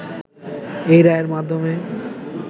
এ রায়ের মাধ্যমে